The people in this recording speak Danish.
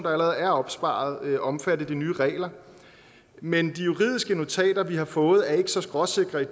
allerede er opsparet være omfattet af de nye regler men de juridiske notater vi har fået er ikke så skråsikre i